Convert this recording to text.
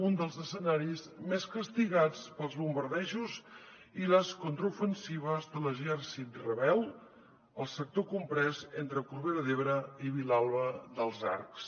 un dels escenaris més castigats pels bombardejos i les contraofensives de l’exèrcit rebel fou el sector comprès entre corbera d’ebre i vilalba dels arcs